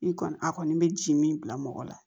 I kɔni a kɔni bɛ ji min bila mɔgɔ la